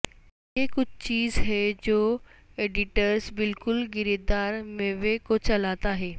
یہ کچھ چیز ہے جو ایڈیٹرز بالکل گری دار میوے کو چلاتا ہے